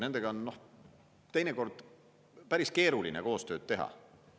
Nendega on teinekord päris keeruline koostööd teha.